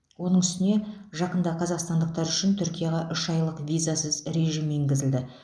оның үстіне жақында қазақстандықтар үшін түркияға үш айлық визасыз режим енгізілді